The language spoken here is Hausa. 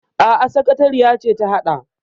Aa, sakatariya ce ta haɗa.